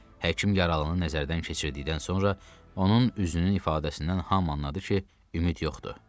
Həkim yaralını nəzərdən keçirtdikdən sonra onun üzünün ifadəsindən hamı anladı ki, ümid yoxdur.